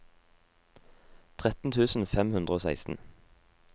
tretten tusen fem hundre og seksten